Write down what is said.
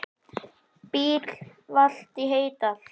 Bíll valt í Heydal